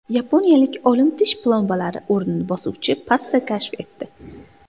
Yaponiyalik olim tish plombalari o‘rnini bosuvchi pasta kashf etdi.